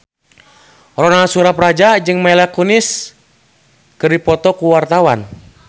Ronal Surapradja jeung Mila Kunis keur dipoto ku wartawan